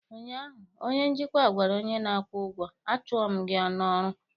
ụnyaahụ, onye njikwa gwara onye na-akwụ ụgwọ, a chụọ m gị n'ọrụ!